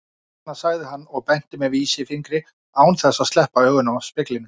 Hérna, sagði hann og benti með vísifingri án þess að sleppa augunum af speglinum.